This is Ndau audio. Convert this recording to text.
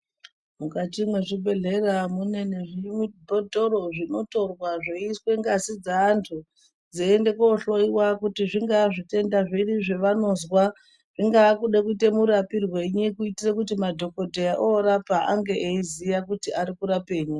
Mukati mwezvibhidhlera mune zvibhotoro zvinotorwa zvoiswe ngazi dzaantu dzeiende kohloyiwa kuti zvingaa zvitenda zviri zveanozwa zvingade kuite murapirwei kuitira kuti madhokodheya orapa ange eiziya kuti ari kurapei.